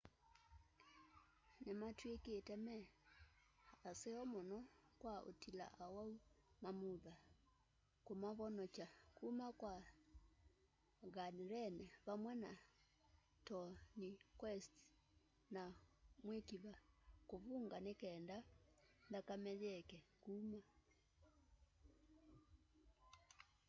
ni matwikite me aseo muno kwa utila awau mamutha kumavonokya kuma kwa ganrene vamwe na tourniquets na mwikiva kuvunga nikenda nthakame yieke kuma